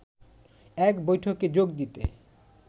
এক বৈঠকে যোগ দিতে